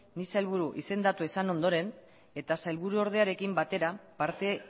ni sailburu izendatua izan ondoren eta sailburu ordearekin batera parte